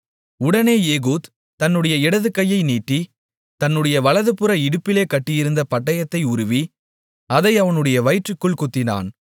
உடனே ஏகூத் தன்னுடைய இடதுகையை நீட்டி தன்னுடைய வலதுபுற இடுப்பிலே கட்டியிருந்த பட்டயத்தை உருவி அதை அவனுடைய வயிற்றிற்குள் குத்தினான்